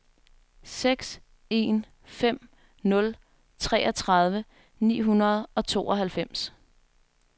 seks en fem nul treogtredive ni hundrede og tooghalvfems